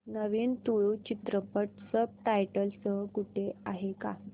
नवीन तुळू चित्रपट subtitles सह कुठे आहे का